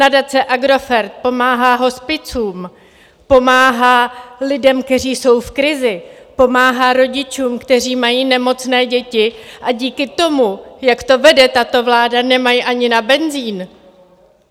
Nadace Agrofert pomáhá hospicům, pomáhá lidem, kteří jsou v krizi, pomáhá rodičům, kteří mají nemocné děti, a díky tomu, jak to vede tato vláda, nemají ani na benzin.